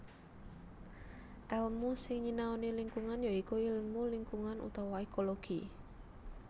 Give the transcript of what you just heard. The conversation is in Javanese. Èlmu sing nyinaoani lingkungan ya iku ilmu lingkungan utawa ékologi